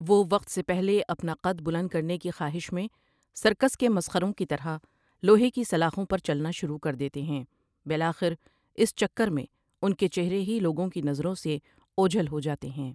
وہ وقت سے پہلے اپنا قد بلند کرنے کی خواہش میں سرکس کے مسخروں کی طرح لوہے کی سلاخوں پر چلنا شروع کر دیتے ہیں بالآخر اس چکر میں ان کے چہرے ہی لوگوں کی نظروں سے اوجھل ہو جاتے ہیں